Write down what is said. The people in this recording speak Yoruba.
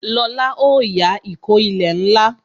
Lóla ó yá ìkó ilẹ̀ ńlá